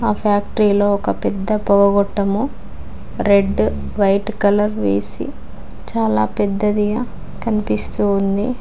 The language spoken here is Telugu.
ఆ ఫ్యాక్టరీలో ఒక పెద్ద పోగగొట్టము రెడ్ వైట్ కలర్ వేసి చాలా పెద్దదిగా కనిపిస్తూ ఉంది.